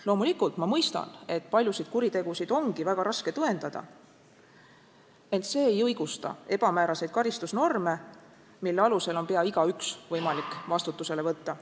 Loomulikult ma mõistan, et paljusid kuritegusid ongi väga raske tõendada, ent see ei õigusta ebamääraseid karistusnorme, mille alusel on pea igaüht võimalik vastutusele võtta.